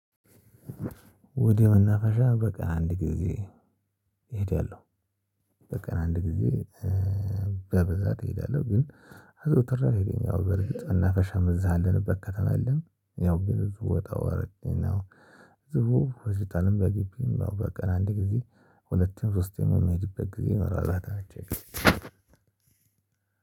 ወደ መናፈሻ በቀን አንድ ጊዜ እሄዳለሁ። በቀን አንድ ጊዜ በብዛት እሄዳለው ግን አዘውትሬ ኣልሄድም ያው በርግጥ መናፈሻም እዛ ያለንበት ከተማ የለምን ያው ብዙ ውጣውረድ ነው ህዝቡ ሆስፒታልም በግቢም ያው በቀን አንድ ጊዜ ሁለት ሶስት የምሄድበት ጊዜ ይኖራል አላት አንቺ